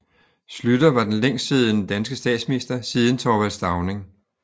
Schlüter var den længstsiddende danske statsminister siden Thorvald Stauning